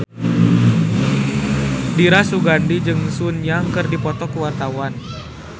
Dira Sugandi jeung Sun Yang keur dipoto ku wartawan